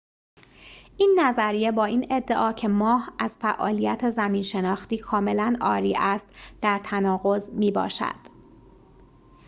این نظریه با این ادعا که ماه از فعالیت زمین‌شناختی کاملاً عاری است در تناقض می‌باشد